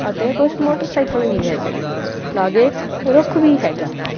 ਅਤੇ ਕੁਝ ਮੋਟਰਸਾਈਕਲ ਵੀ ਹੈਗੇ ਲਾਗੇ ਇੱਕ ਰੁੱਖ ਵੀ ਹੈਗਾ।